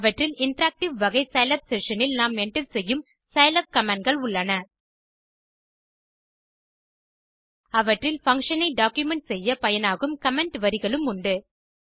அவற்றில் இன்டராக்டிவ் வகை Scilab session இல் நாம் என்டர் செய்யும் சிலாப் கமாண்ட் கள் உள்ளன அவற்றில் பங்ஷன் ஐ டாக்குமென்ட் செய்ய பயனாகும் கமெண்ட் வரிகளும் உண்டு